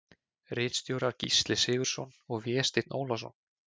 Ritstjórar Gísli Sigurðsson og Vésteinn Ólason.